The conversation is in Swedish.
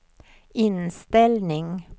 inställning